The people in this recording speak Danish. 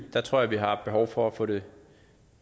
tror jeg vi har et behov for at få det